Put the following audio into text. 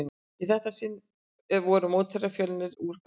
Í þetta sinn voru mótherjarnir Fjölnir úr Grafarvogi.